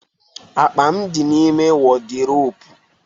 Akpa m di n'ime wọdiropu